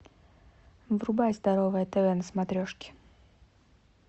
врубай здоровое тв на смотрешке